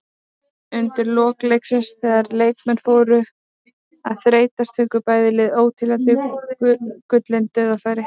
Undir lok leiksins þegar leikmenn fóru að þreytast fengu bæði lið óteljandi gullin dauðafæri.